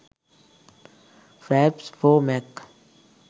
fraps for mac